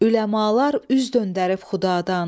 Üləmalar üz döndərib xudadan.